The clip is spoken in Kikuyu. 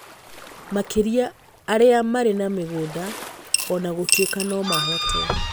Makĩria arĩa marĩ na mĩgũnda, o na gũtuĩka no mahote